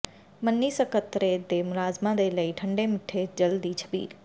ਮੰਨੀ ਸਕੱਤਰੇਤ ਦੇ ਮੁਲਾਜਮਾਂ ਨੇ ਲਾਈ ਠੰਡੇ ਮਿੱਠੇ ਜਲ ਦੀ ਛਬੀਲ